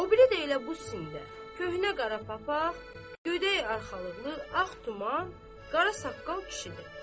O biri də elə bu sində köhnə qara papaq, gödək arxalıqlı, ağ tuman, qara saqqal kişidir.